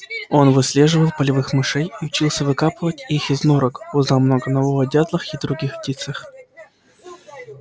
он выслеживал полевых мышей и учился выкапывать их из норок узнал много нового о дятлах и других птицах